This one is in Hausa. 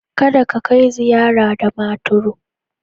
Kada ka kai ziyara Damaturu.